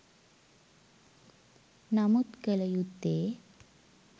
නමුත් කළ යුත්තේ